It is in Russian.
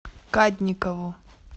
кадникову